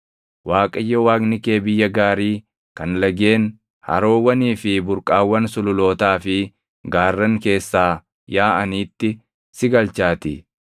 Waaqayyo Waaqni kee biyya gaarii kan lageen, haroowwanii fi burqaawwan sululootaa fi gaarran keessaa yaaʼaniitti si galchaatii.